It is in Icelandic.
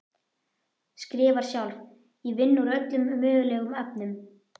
Skrifar sjálf: Ég vinn úr öllum mögulegum efnum.